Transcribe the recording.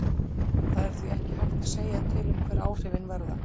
Það er því ekki hægt að segja til um hver áhrifin verða.